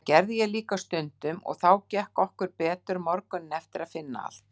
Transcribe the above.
Það gerði ég líka stundum og þá gekk okkur betur morguninn eftir að finna allt